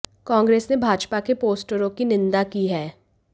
कांग्रेस ने भाजपा के पोस्टरों की निंदा की है